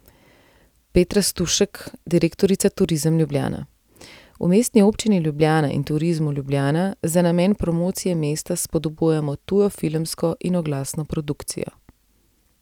Petra Stušek, direktorica Turizem Ljubljana: ''V Mestni občini Ljubljana in Turizmu Ljubljana za namen promocije mesta spodbujamo tujo filmsko in oglasno produkcijo.